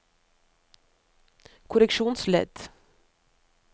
korreksjonsledd